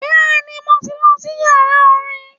Bẹ́ẹ̀ni, mo tí ń lọ sí yàrá orin.